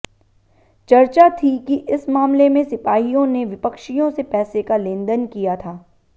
चर्चा थी कि इस मामले में सिपाहियों ने विपक्षियों से पैसे का लेनदेन किया था